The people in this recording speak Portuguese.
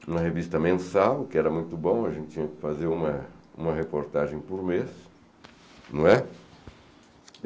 Uma revista mensal, que era muito bom, a gente tinha que fazer uma uma reportagem por mês, né.